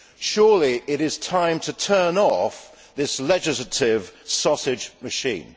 Surely it is time to turn off this legislative sausage machine.